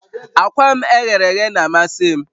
Akwa m e ghere eghe na-amasị m